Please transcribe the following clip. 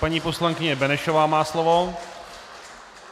Paní poslankyně Benešová má slovo.